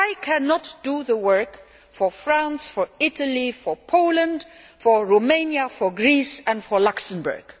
But I cannot do the work for France, for Italy, for Poland, for Romania, for Greece and for Luxembourg